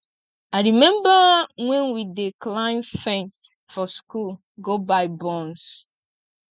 i remember wen we dey climb fence for school go buy buns